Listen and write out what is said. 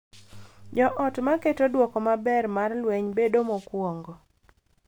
Jo ot ma keto duoko maber mar lweny bedo mokuongo